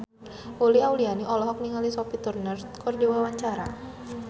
Uli Auliani olohok ningali Sophie Turner keur diwawancara